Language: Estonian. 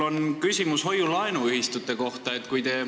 Mul on küsimus hoiu-laenuühistute kohta.